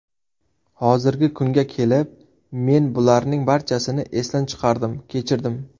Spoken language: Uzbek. Hozirgi kunga kelib men bularning barchasini esdan chiqardim, kechirdim.